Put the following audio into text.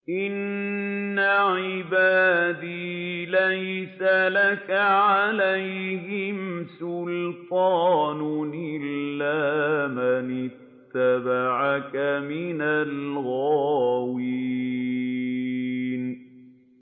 إِنَّ عِبَادِي لَيْسَ لَكَ عَلَيْهِمْ سُلْطَانٌ إِلَّا مَنِ اتَّبَعَكَ مِنَ الْغَاوِينَ